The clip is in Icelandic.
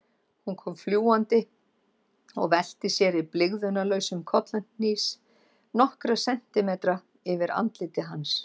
Hún kom fljúgandi og velti sér í blygðunarlausum kollhnís nokkra sentimetra yfir andliti hans.